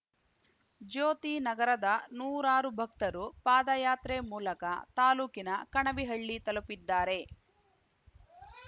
ಜ್ಯೋತಿನಗರದ ನೂರಾರು ಭಕ್ತರು ಪಾದಯಾತ್ರೆ ಮೂಲಕ ತಾಲೂಕಿನ ಕಣವಿಹಳ್ಳಿ ತಲುಪಿದ್ದಾರೆ